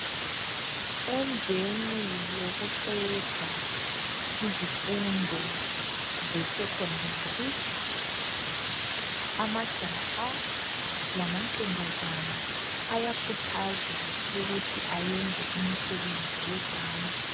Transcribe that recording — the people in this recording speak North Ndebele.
Emveni yokuqeda izimvundo zesecondary amajaha lamantombazana ayakhuthazwa ukuthi beyenze imisebenzi yezandla.